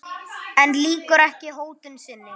En lýkur ekki hótun sinni.